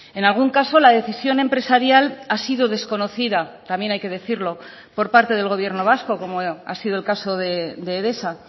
en algún caso la decisión empresarial ha sido desconocida también hay que decirlo por parte del gobierno vasco como ha sido el caso de edesa